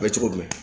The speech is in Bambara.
A bɛ cogo jumɛn